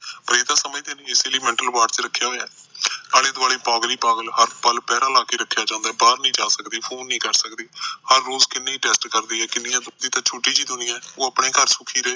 ਪਰ ਇਹ ਤਾ ਸਮਝਦੇ ਇਸੇ ਲਈ ਮੈਂਟਲ ਅਵਾਰਡ ਚ ਰੱਖਿਆ ਹੋਇਆ ਆਲੋ ਦੁਆਲੇ ਪਾਗਲ ਹੀ ਪਾਗਲ ਹਸਪਤਾਲ ਚ ਪੈਰਾ ਲਾਕੇ ਰੱਖਿਆ ਜਾਂਦਾ ਬਾਹਰ ਨੀ ਜਾ ਸਕਦੇ ਫੋਨ ਨੀ ਕਰ ਸਕਦੇ ਹਰ ਰੋਜ ਉਹ ਆਪਣੇ ਘਰ ਸੁਖੀ ਰਹੇ